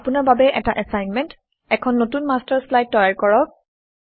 আপোনাৰ বাবে এটা এচাইনমেণ্ট এখন নতুন মাষ্টাৰ শ্লাইড তৈয়াৰ কৰক